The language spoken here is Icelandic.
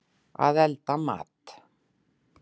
Að elda mat.